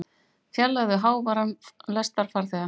Fjarlægðu háværan lestarfarþega